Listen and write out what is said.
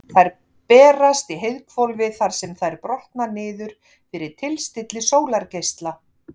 Þær berast í heiðhvolfið þar sem þær brotna niður fyrir tilstilli sólargeisla.